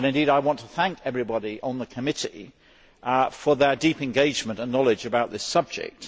I want to thank everybody on the Committee for their deep engagement and knowledge about this subject.